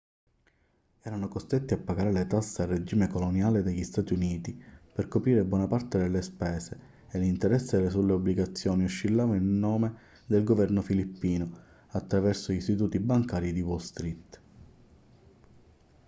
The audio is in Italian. erano costretti a pagare le tasse al regime coloniale degli stati uniti per coprire buona parte delle spese e l'interesse sulle obbligazioni oscillava in nome del governo filippino attraverso gli istituti bancari di wall street